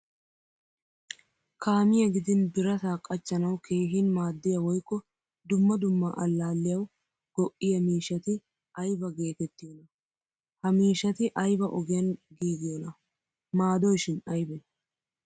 Kaamiyaa gidin birata qachchanawu keehin maadiya woykko dumma dumma allaliyawu go'iyaa miishshati ayba geetettiyona? Ha miishshati ayba ogiyan giigiyona? Maadoyshin aybe?